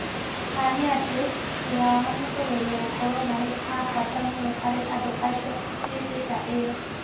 Ma nĩ atĩ, wĩra wao nĩ kũgeria gũkorũo marĩ a bata mũno harĩ andũ acio hĩndĩ ta ĩyo.